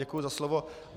Děkuji za slovo.